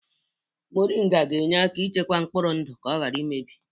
Moringa na-enyere aka ichekwa mkpụrụ ndụ ka ọ ghara imebi